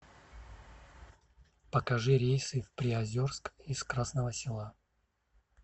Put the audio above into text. покажи рейсы в приозерск из красного села